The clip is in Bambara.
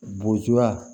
Bojuya